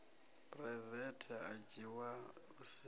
phuraivethe a dzhiwa lu siho